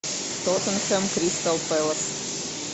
тоттенхэм кристал пэлас